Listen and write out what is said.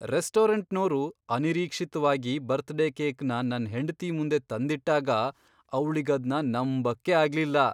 ರೆಸ್ಟೋರಂಟ್ನೋರು ಅನಿರೀಕ್ಷಿತ್ವಾಗಿ ಬರ್ತ್ಡೇ ಕೇಕ್ನ ನನ್ ಹೆಂಡ್ತಿ ಮುಂದೆ ತಂದಿಟ್ಟಾಗ ಅವ್ಳಿಗದ್ನ ನಂಬಕ್ಕೇ ಆಗ್ಲಿಲ್ಲ.